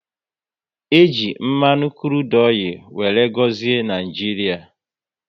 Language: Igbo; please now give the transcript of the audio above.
E ji mmanụ krudu wéré gọzie Naijiria